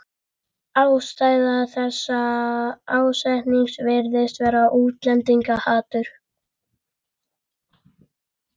Ástæða þessa ásetnings virðist vera útlendingahatur.